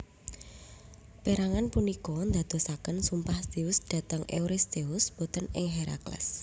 Pérangan punika ndadosaken sumpah Zeus dhateng Euristheus boten ing Herakles